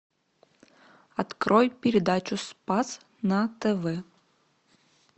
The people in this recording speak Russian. открой передачу спас на тв